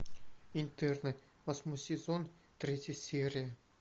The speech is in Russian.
интерны восьмой сезон третья серия